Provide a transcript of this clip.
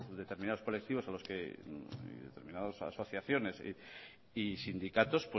determinados colectivos asociaciones y sindicatos